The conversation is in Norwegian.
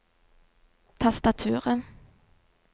tastaturet